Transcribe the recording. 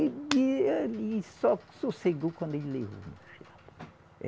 E ele só sossegou quando ele levou